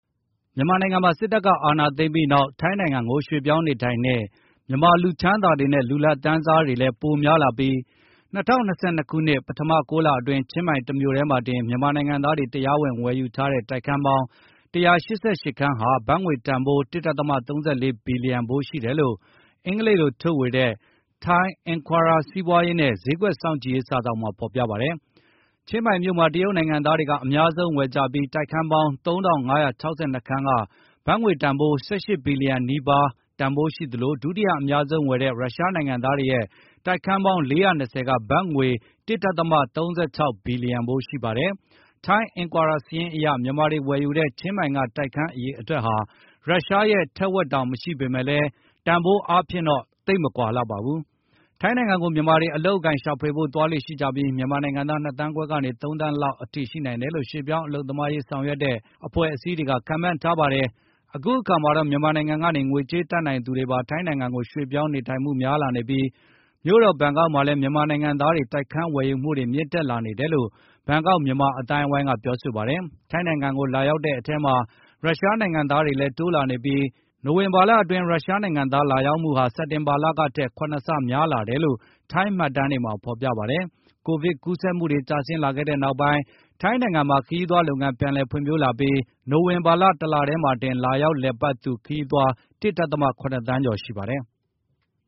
မြန်မာနိုင်ငံမှာ စစ်တပ်က အာဏာသိမ်းပြီးနောက် ထိုင်းနိုင်ငံကို ရွှေ့ပြောင်းနေထိုင်တဲ့ မြန်မာ လူချမ်းသာတွေနဲ့ လူလတ်တန်းစားတွေလည်း ပိုများလာပြီး ၂၀၂၂ ခုနှစ် ပထမ ၉ လအတွင်း ချင်းမိုင်တမြို့တည်းမှာတင် မြန်မာနိုင်ငံသားတွေ တရားဝင် ဝယ်ယူထားတဲ့ တိုက်ခန်းပေါင်း ၁၈၈ ခန်းဟာ ဘတ်ငွေတန်ဖိုး ၁ ဒသမ ၃၄ ဘီလျံဖိုး ရှိတယ်လို့ အင်္ဂလိပ်လို ထုတ်ဝေတဲ့ Thai Enquirer စီးပွားရေးနဲ့ ဈေးကွက်စောင့်ကြည့်ရေး စာစောင်မှာ ဖေါ်ပြထားပါတယ်။ ချင်းမိုင်မြို့မှာ တရုတ်နိုင်ငံသားတွေက အများဆုံး ဝယ်ကြပြီး တိုက်ခန်း ပေါင်း ၃,၅၆၂ ခန်းက ဘတ်ငွေတန်ဖိုး ၁၈ ဘီလျံ နီးပါးတန်ဖိုး ရှိသလို ဒုတိယအများဆုံးဝယ်တဲ့ ရုရှားနိုင်ငံသားတွေရဲ့ တိုက်ခန်းပေါင်း ၄၂၀ က ဘတ်ငွေ ၁ ဒသမ ၃၆ ဘီလျံဖိုး ရှိ ပါတယ်။ Thai Enquirer စာရင်းအရ မြန်မာတွေဝယ်ယူတဲ့ ချင်းမိုင်က တိုက်ခန်းအရေအတွက်ဟာ ရုရှားရဲ့ ထက်ဝက်တောင် မရှိပေမဲ့ တန်ဖိုး အားဖြင့်တော့ သိပ်မကွာလှပါဘူး။ ထိုင်းနိုင်ငံကို မြန်မာတွေ အလုပ်အကိုင် ရှာဖွေဖို့ သွားလေ့ရှိကြပြီး မြန်မာနိုင်ငံသား ၂ သန်းခွဲကနေ ၃ သန်းလောက်အထိ ရှိနေနိုင်တယ်လို့ ရွှေ့ပြောင်းအလုပ်သမားအရေး ဆောင်ရွက်တဲ့ အဖွဲ့အစည်းတွေက ခန့်မှန်းထားတာပါ။ အခုအခါမှာတော့ မြန်မာနိုင်ငံကနေ ငွေကြေးတတ်နိုင်သူတွေပါ ထိုင်းနိုင်ငံကို ရွှေ့ပြောင်းနေထိုင်မှု များလာနေပြီး မြို့တော် ဘန်ကောက်မှာလည်း မြန်မာနိုင်ငံသားတွေ တိုက်ခန်းဝယ်မှုတွေ မြင့်တက်လာနေ တယ်လို့ ဘန်ကောက် မြန်မာအသိုင်းအဝိုင်းက ပြောဆိုပါတယ်။ ထိုင်းနိုင်ငံကို လာရောက်တဲ့ အထဲမှာ ရုရှားနိုင်ငံသားတွေလည်း တိုးလာနေတာ ဖြစ်ပြီး နိုဝင်ဘာအတွင်း ရုရှားနိုင်ငံသား လာရောက်မှုဟာ စက်တင်ဘာလကထက် ၇ ဆ များလာတယ်လို့ ထိုင်းမှတ်တမ်းတွေမှာဖေါ်ပြပါတယ်။ Covid-19 ကူးစက်မှုတွေ ကျဆင်းလာခဲ့တဲ့နောက် ထိုင်းနိုင်ငံမှာ ခရီးသွားလုပ်ငန်း ပြန်လည် ဖွံ့ဖြိုး လာပြီး နိုဝင်ဘာလ ၁ လ ထဲမှာတင် လာရောက်လည်ပတ်သူ ခရီးသွား ၁ ဒသမ ၇ သန်းကျော်ရှိပါတယ်။